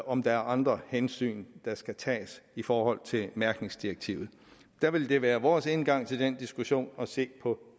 om der er andre hensyn der skal tages i forhold til mærkningsdirektivet der vil det være vores indgang til den diskussion at se på